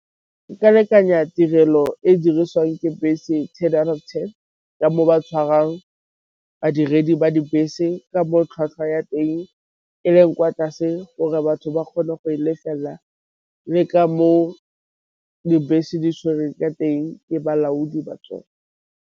Ke ka lekanyetsa tirelo e e dirisiwang ke bese ten out of ten ka mo ba tshwarang badiredi ba dibese, ka mo tlhwatlhwa ya teng e leng kwa tlase gore batho ba kgone go e lefela, le ka mo dibese di tshwere ka teng ke balaodi ba tsone.